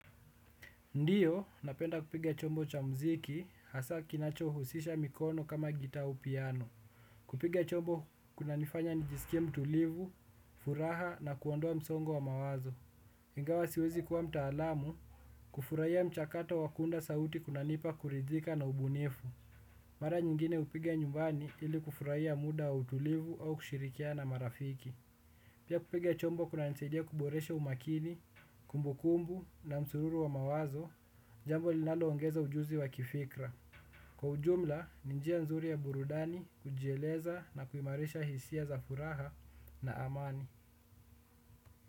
Ndiyo, napenda kupiga chombo cha mziki, hasa kinacho husisha mikono kama gitaa au piano. Kupiga chombo kunanifanya nijisikie mtulivu, furaha na kuondoa msongo wa mawazo. Ingawa siwezi kuwa mtaalamu, kufurahia mchakato wa kuunda sauti kunanipa kuridhika na ubunifu. Mara nyingine hupiga nyumbani ili kufurahia muda wa utulivu au kushirikia na marafiki. Pia kupige chombo kunanisidia kuboresha umakini, kumbukumbu na msororo wa mawazo, jambo linaloongeza ujuzi wa kifikra. Kwa ujumla, ni njia nzuri ya burudani kujieleza na kuimarisha hisia za furaha na amani.